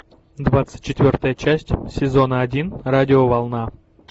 двадцать четвертая часть сезона один радиоволна